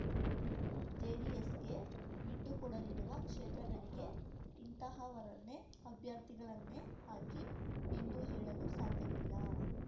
ಜೆಡಿಎಸ್‌ಗೆ ಬಿಟ್ಟುಕೊಡಲಿರುವ ಕ್ಷೇತ್ರಗಳಿಗೆ ಇಂತಹವರನ್ನೇ ಅಭ್ಯರ್ಥಿಗಳನ್ನೇ ಹಾಕಿ ಎಂದು ಹೇಳಲು ಸಾಧ್ಯವಿಲ್ಲ